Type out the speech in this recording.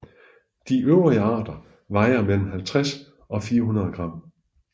De øvrige arter vejer mellem 50 og 400 gram